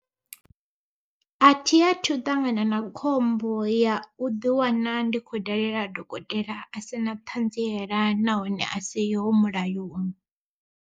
Athi athu u ṱangana na khombo ya u ḓi wana ndi khou dalela dokotela a si na ṱhadziela nahone a siho mulayoni.